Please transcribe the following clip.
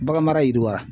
Bagan mara yiriwa